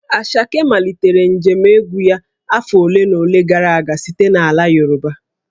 Asake malitere njem egwu ya afọ ole na ole gara aga site n'ala Yoruba